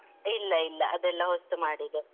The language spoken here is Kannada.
ಇಲ್ಲ ಇಲ್ಲ. ಅದೆಲ್ಲ ಹೊಸ್ತು ಮಾಡಿದೆ.